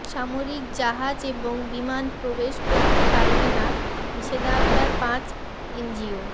সামরিক জাহাজ এবং বিমান প্রবেশ করতে পারবে না নিষেধাজ্ঞায় পাঁচ এনজিও